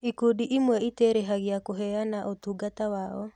Ikundi ĩmwe itĩrĩhagia kũheana ũtungata wao.